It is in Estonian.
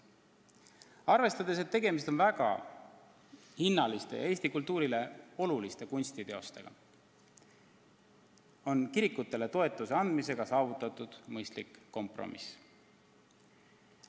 Arvestades, et tegemist on väga hinnaliste ja Eesti kultuurile oluliste kunstiteostega, on kirikutele toetuse andmisega saavutatud mõistlik kompromiss.